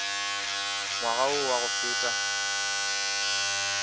ngwaga wo wa go feta